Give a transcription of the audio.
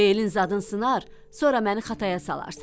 Beşin zadın sınar, sonra məni xataya salarsan.